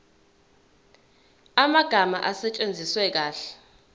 amagama asetshenziswe kahle